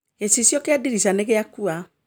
Gĩcicio kĩa ndirica nĩgĩakua